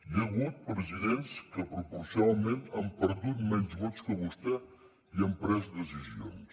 hi ha hagut presidents que proporcionalment han perdut menys vots que vostè i han pres decisions